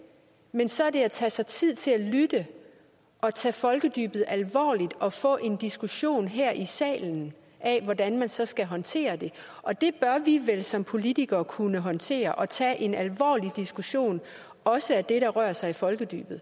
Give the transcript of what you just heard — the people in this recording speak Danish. men så er det at tage sig tid til at lytte og tage folkedybet alvorligt og få en diskussion her i salen af hvordan man så skal håndtere det og det bør vi vel som politikere kunne håndtere at tage en alvorlig diskussion også af det der rører sig i folkedybet